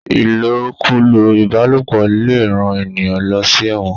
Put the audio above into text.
ilokulo ìbálòpọ̀ lẹ rán ènìyàn ló sí èwòn.